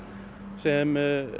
sem